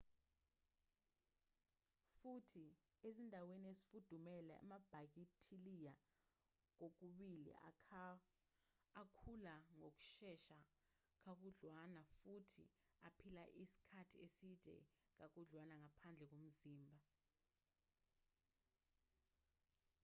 futhi ezindaweni ezifudumele amabhakithiliya kokubili akhula ngokushesha kakhudwlana futhi aphila isikhathi eside kakhudlwana ngaphandle komzimba